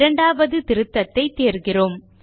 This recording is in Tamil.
இரண்டாவது திருத்தத்தைத் தேர்கிறோம்